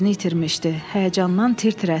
Həyəcandan tir-tir əsirdi.